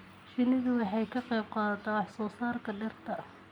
Shinnidu waxay ka qayb qaadataa wax soo saarka dhirta.